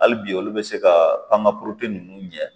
Hali bi olu bɛ se ka panga ninnu ɲɛ